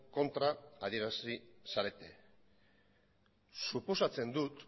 kontra adierazi zarete suposatzen dut